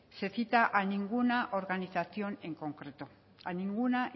se cita a ninguna organización en concreto a ninguna